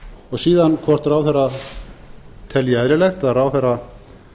og síðan hvort ráðherra telji eðlilegt að ráðherra